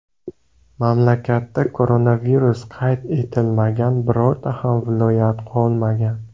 Mamlakatda koronavirus qayd etilmagan birorta ham viloyat qolmagan.